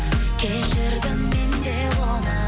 кешірдім мен де оны